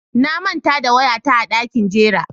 Na manta da waya ta a dakin jira.